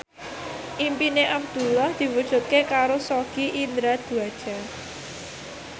impine Abdullah diwujudke karo Sogi Indra Duaja